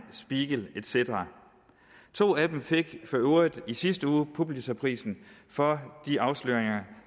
spiegel et cetera to af dem fik for øvrigt i sidste uge pulitzerprisen for de afsløringer